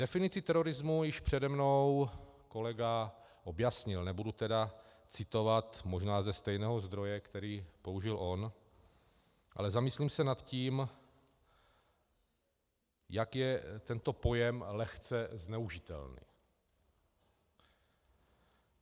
Definici terorismu již přede mnou kolega objasnil, nebudu tedy citovat možná ze stejného zdroje, který použil on, ale zamyslím se nad tím, jak je tento pojem lehce zneužitelný.